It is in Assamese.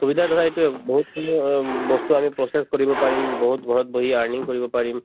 সুবিধা ধৰা এইটোয়ে বহুতখিনি অ উম বস্তু আমি process কৰিব পাৰিম বহুত ঘৰত বহি earning কৰিব পাৰিম